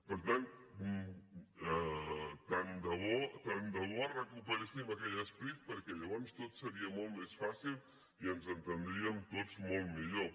per tant tant de bo tant de bo recuperéssim aquell esperit perquè llavors tot seria molt més fàcil i ens entendríem tots molt millor